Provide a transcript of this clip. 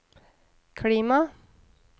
klima